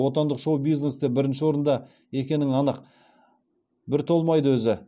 отандық шоу бизнесте бірінші орында екенің анық бір толмайды өзі